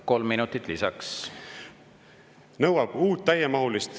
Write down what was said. Kolm minutit lisaks.